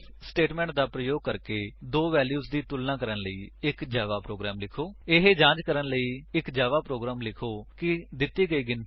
IF statement ਦਾ ਪ੍ਰਯੋਗ ਕਰਕੇ ਦੋ ਵੇਲਿਉਜ ਦੀ ਤੁਲਣਾ ਕਰਨ ਲਈ ਇੱਕ ਜਾਵਾ ਪ੍ਰੋਗਰਾਮ ਲਿਖੋ ਇਹ ਜਾਂਚ ਕਰਨ ਲਈ ਇੱਕ ਜਾਵਾ ਪ੍ਰੋਗਰਾਮ ਲਿਖੋ ਕਿ ਦਿੱਤੀ ਗਈ ਗਿਣਤੀ ਈਵਨ ਹੈ ਜਾਂ ਓਡ ਹੈ